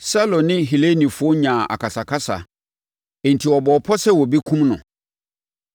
Saulo ne Helenifoɔ nyaa akasakasa enti wɔbɔɔ pɔ sɛ wɔbɛkum no.